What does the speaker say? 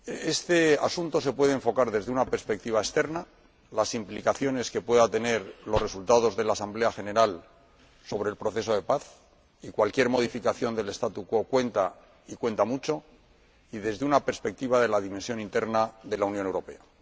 Este asunto se puede enfocar desde una perspectiva externa —las implicaciones que puedan tener los resultados de la Asamblea General sobre el proceso de paz y cualquier modificación del statu quo cuentan, y cuentan mucho— y desde una perspectiva de la dimensión interna de la Unión Europea.